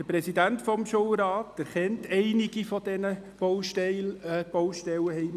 Der Präsident des Schulrates erkennt einige dieser Baustellen;